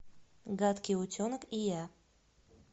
гадкий утенок и я